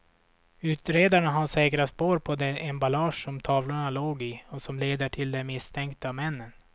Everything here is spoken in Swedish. Utredarna har säkrat spår på det emballage som tavlorna låg i och som leder till de misstänkta männen.